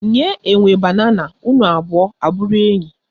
Nye enwe banana unu abụo abụrụ enyi